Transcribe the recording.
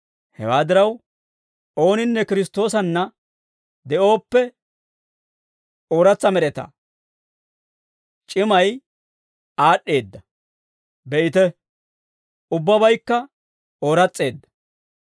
Hewaa diraw, ooninne Kiristtoosanna de'ooppe, ooratsa med'etaa; c'imay aad'd'eedda; be'ite, ubbabaykka ooras's'eedda.